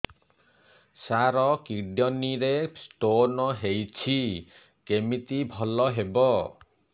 ସାର kidney ରେ stone ହେଇଛି କମିତି ଭଲ ହେବ